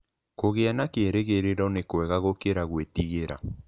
Kũgĩa na kĩĩrĩgĩrĩro nĩ kwega gũkĩra gwĩtigĩra.